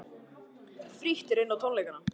Frítt er inn á tónleikana